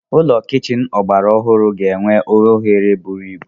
Ụlọ kichin ọgbara ọhụrụ ga-enwe oghere buru ibu.